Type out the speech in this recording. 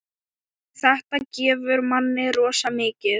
Þetta gefur manni rosa mikið.